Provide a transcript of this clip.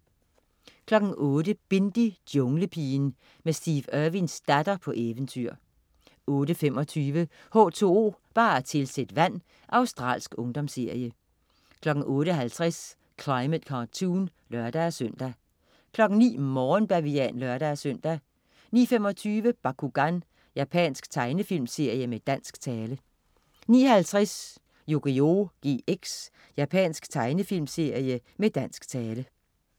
08.00 Bindi: Junglepigen. Med Steve Irwins datter på eventyr 08.25 H2O, bare tilsæt vand. Australsk ungdomsserie 08.50 Climate Cartoon (lør-søn) 09.00 Morgenbavian (lør-søn) 09.25 Bakugan. Japansk tegnefilmserie med dansk tale 09.50 Yugioh GX. Japansk tegnefilmserie med dansk tale